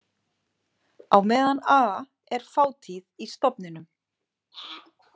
Á meðan a er fátíð í stofninum.